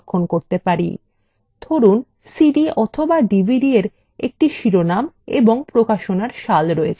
ধরুন cd অথবা dvdএর একটি শিরোনাম এবং প্রকাশনার সাল রয়েছে